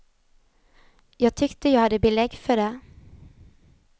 Jag tyckte jag hade belägg för det.